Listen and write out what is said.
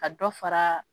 Ka dɔ fara